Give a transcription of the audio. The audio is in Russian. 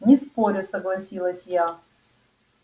не спорю согласилась я